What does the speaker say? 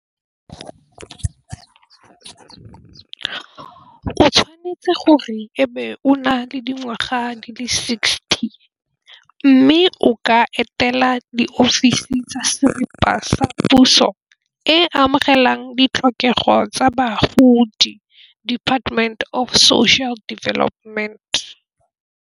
O tshwanetse gore ebe o na le dingwaga di le sixty, mme o ka etela di ofisi tsa siripa sa puso e amogelang ditlhokego tsa bagodi Department of Social Development.